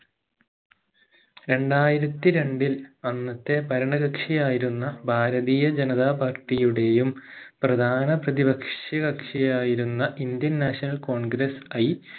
രണ്ടായിരത്തി രണ്ടിൽ അന്നത്തെ ഭരണകക്ഷിയായിരുന്ന ഭാരതീയ ജനത party യുടെയും പ്രധാന പ്രതി പക്ഷികക്ഷിയായിരുന്ന indian national congress ഐ